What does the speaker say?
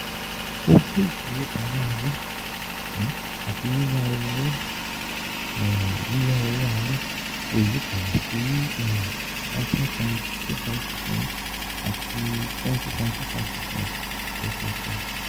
Owó ìfowópamọ́ alẹ́ àti yiya owó yiya owó alẹ́ kò yí padà sí nineteen point two five percent àti twenty point two five percent, lẹ́sẹ̀sẹ̀.